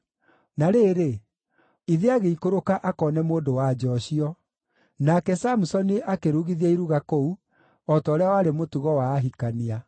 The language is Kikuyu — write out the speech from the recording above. Na rĩrĩ, ithe agĩikũrũka akoone mũndũ-wa-nja ũcio. Nake Samusoni akĩrugithia iruga kũu, o ta ũrĩa warĩ mũtugo wa ahikania.